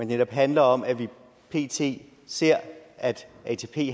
netop handler om at vi pt ser at atp